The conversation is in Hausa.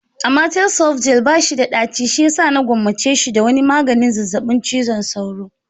Amatel soft gel bashi da daci shiyasa na gwammace shi da wani maganin zazzabin cizon sauro.